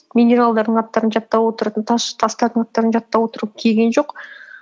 минералдардың аттарын жаттап отыратын тас координаттарын жаттап отыру келген жоқ